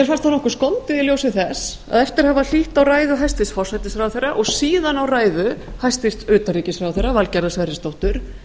fannst nokkuð skondið í ljósi þess að eftir að hafa hlýtt á ræðu hæstvirts forsætisráðherra og síðan á ræðu hæstvirts utanríkisráðherra valgerðar sverrisdóttur